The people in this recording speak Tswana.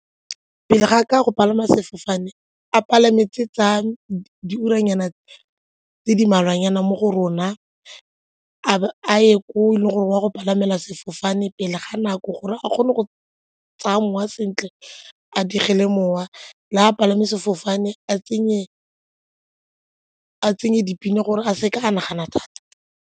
Pele ga ka go palama sefofane a palame tsa tsa diuranyana tse di mmalwanyana mo go rona, a bo a ye ko e leng gore o a go palama sefofane pele ga nako gore a kgone go tsaya mowa sentle a dirile mowa le a palame sefofane a tsenye dipina gore a se ka a nagana thata.